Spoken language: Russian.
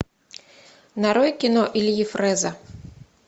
нарой кино ильи фрэза